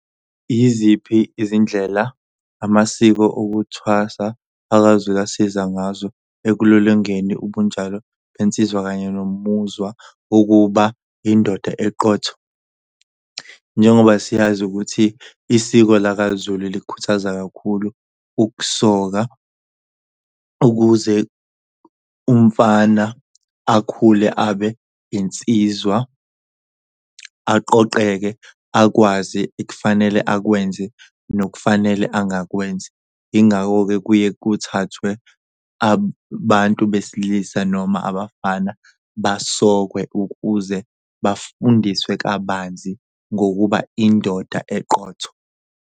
Yiziphi izindlela amasiko okuthwasa akaZulu asiza ngazo ekulolongeni ubunjalo ensizwa kanye nomuzwa wokuba indoda eqotho? Njengoba siyazi ukuthi isiko lakaZulu likhuthaza kakhulu ukusoka, ukuze umfana akhule abe insizwa aqoqeke akwazi ekufanele akwenze nokufanele angakwenzi. Ingakho-ke, kuye kuthathwe abantu besilisa noma abafana basokwe ukuze bafundiswe kabanzi ngokuba indoda eqotho.